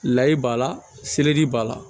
Layi b'a la seleri b'a la